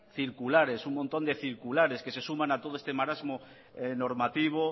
circulares un montón de circulares que se suman a todo este marasmo normativo